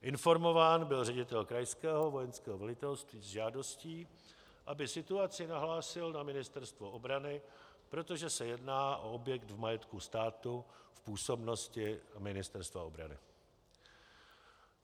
Informován byl ředitel krajského vojenského velitelství s žádostí, aby situaci nahlásil na Ministerstvo obrany, protože se jedná o objekt v majetku státu v působnosti Ministerstva obrany.